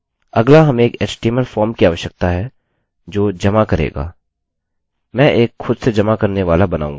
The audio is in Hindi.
अगला हमें एक html फॉर्म की आवश्यकता है जो जमा करेगा मैं एक खुद से जमा करने वाला बनाऊँगा